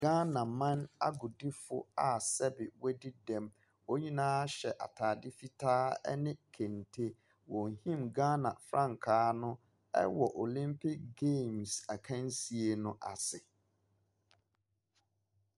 Ghana man agodie fo a sɛbi wɔn adi dɛm. Wɔn nyinaa hyɛ ataade fitaa ɛne kente. Wohim Ghana frankaa no ɛwɔ Olimpik geemes akansie no ase.